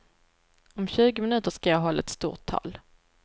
Om tjugo minuter ska jag hålla ett stort tal.